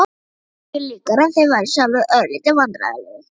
Það var engu líkara en þeir væru sjálfir örlítið vandræðalegir.